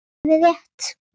Það er rétt.